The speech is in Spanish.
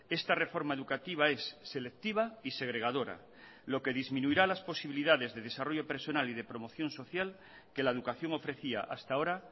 esta reforma educativa es selectiva y segregadora lo que disminuirá las posibilidades de desarrollo personal y de promoción social que la educación ofrecía hasta ahora